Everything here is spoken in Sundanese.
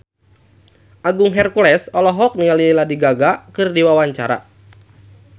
Agung Hercules olohok ningali Lady Gaga keur diwawancara